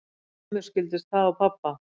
Mömmu skildist það á pabba